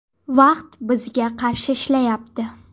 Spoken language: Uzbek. Vaqt bizga qarshi ishlayapti.